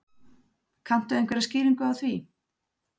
Kanntu einhverja skýringu á því?